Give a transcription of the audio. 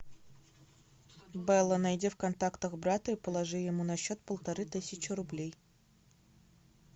белла найди в контактах брата и положи ему на счет полторы тысячи рублей